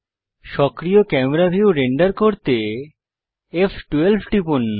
সক্রিয় camera view render করতে ফ12 টিপুন